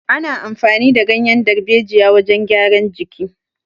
Ana amfani da ganyan darbejiya wajan gyara jiki